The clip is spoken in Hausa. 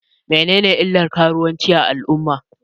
Menene illan karuwanci a al'umma?